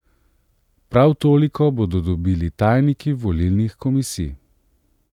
Prav toliko bodo dobili tajniki volilnih komisij.